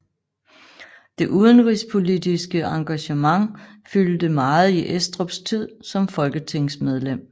Det udenrigspolitiske engagement fyldte meget i Estrups tid som folketingsmedlem